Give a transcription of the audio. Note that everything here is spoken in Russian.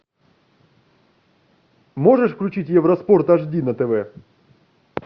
можешь включить евроспорт аш ди на тв